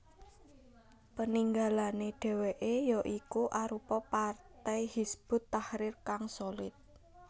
Peninggalane dheweke ya iku arupa partai Hizbut Tahrir kang solid